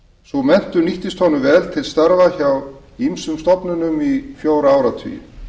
sú menntun nýttist honum vel til starfa hjá ýmsum stofnunum í fjóra áratugi